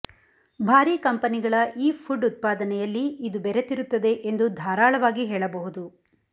ಭಾರಿ ಕಂಪನಿಗಳ ಈ ಫುಡ್ ಉತ್ಪಾದನೆಯಲ್ಲಿ ಇದು ಬೆರೆತಿರುತ್ತದೆ ಎಂದು ಧಾರಾಳವಾಗಿ ಹೇಳಬಹುದು